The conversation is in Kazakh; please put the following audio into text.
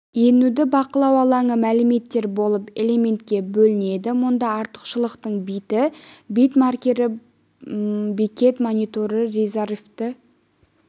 енуді бақылау алаңы мәліметтер болып элементке бөлінеді мұнда артықшылықтың биті бит маркері бекет мониторы резервті